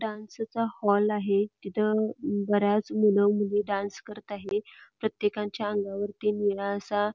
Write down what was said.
डान्सचा हॉल आहे तिथं बऱ्याच मूल मुली डान्स करत आहेत प्रत्येकाच्या अंगावरती निळा असा --